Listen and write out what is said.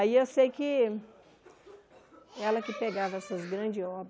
Aí eu sei que ela que pegava essas grandes obras.